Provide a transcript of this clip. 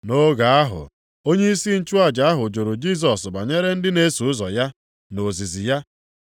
Nʼoge ahụ onyeisi nchụaja ahụ jụrụ Jisọs banyere ndị na-eso ụzọ ya, na ozizi ya.